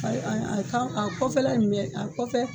a kɔfɛla in bɛɛ a kɔfɛ